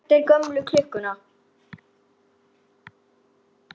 Er þetta ekki skattur líka?